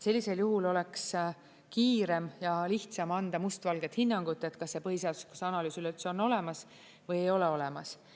Sellisel juhul oleks kiirem ja lihtsam anda mustvalget hinnangut, kas see põhiseaduslikkuse analüüs üleüldse on olemas või ei ole olemas.